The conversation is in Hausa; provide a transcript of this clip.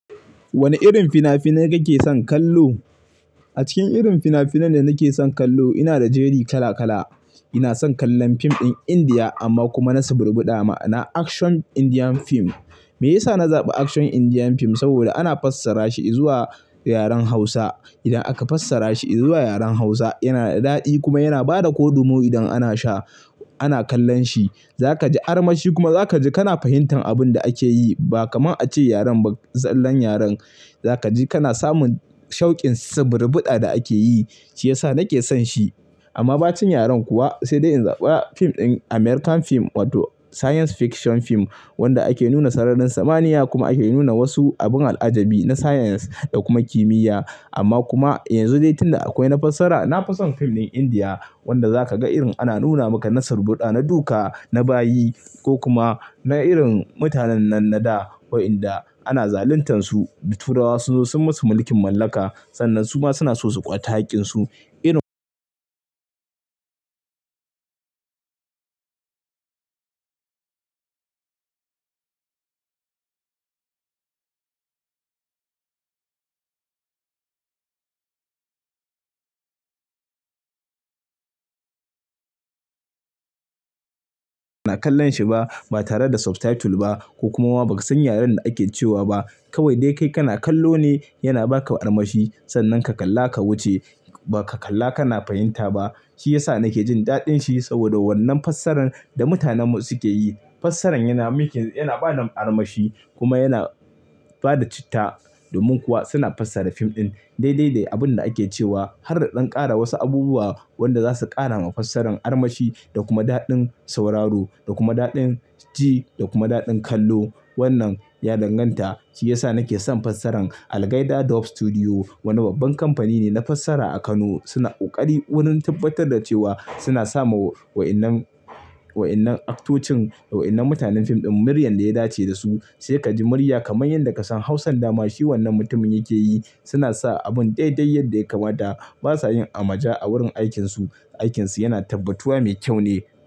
Wane irin fina-finai kake son kallo? A cikin irin fina-finan da nake son kallo, ina da jeri kala kala. Ina son kallon fim ɗin Indiya amma kuma na saburbuɗa ma'ana. Action Indian film. Meyasa na zaɓi action Indian film? Saboda ana fassara shi izuwa yaren Hausa. Idan aka fassara shi izuwa yaren Hausa, yana da daɗi kuma yana ba da kodumo idan ana sha-- ana kallon shi. Za ka ji armashi kuma za ka ji kana fahimtar abin da ake yi ba kamar a ce yaren ba tsallen yaren. Za ka ji kana samun shaukin saburbuɗa da ake yi, shi ya sa nake son shi. Amma bacen yaren kuwa sai dai in zaɓa fim ɗin American film wato science fiction film wanda ake nuna sararin samaniya kuma ake nuna wasu abun al'ajabi na science da kuma kimiyya. Amma kuma yanzu dai tunda akwai na fassara, na fi son fim ɗin Indiya wanda za ka ga irin ana nuna maka na saburbuɗa, na duka, na bayi ko kuma na irin mutanen nan na da waɗanda ana zaluntansu. Turawa sun zo sun masu mulkin mallaka sannan su ma suna so su kwata haƙƙinsu. Irin ana kallon shi ba, ba tare da subtitle ba ko kuma ba san yaren da ake cewa ba. Kawai dai kai kana kallo ne yana ba ka armashi sannan ka kalla ka wuce ba ka kalla kana fahimta ba. Shi ya sa nake jin daɗin shi saboda wannan fassarar da mutanenmu suke yi. Fassaran yana making yana ba da armashi kuma yana ba da citta. Domin kuwa suna fassara fim ɗin dai dai da abun da ake cewa har da ɗan ƙara wasu abubuwa waɗanda za su ƙara ma fassara armashi da kuma daɗin sauraro da kuma daɗin ji da kuma daɗin kallo. Wannan ya danganta, shi ya sa nake son fassara. Al Gaita Dub Studio wani babban kamfani ne na fassara a Kano. Suna ƙoƙari wurin tabbatar da cewa suna sa ma wa ƴannan, wa ƴannan aktocin waɗannan mutanen fim ɗin muryar da ya dace da su. Sai ka ji murya kamar yadda ka san Hausan dama shin wannan mutumin yake yi. Suna sa abun daidai yadda ya kamata. Ba sa yin amaja a wurin aikinsu. Aikinsu yana tabbatuwa mai kyau ne.